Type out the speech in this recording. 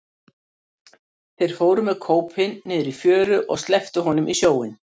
Þeir fóru með kópinn niður í fjöru og slepptu honum í sjóinn.